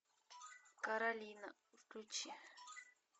каролина включи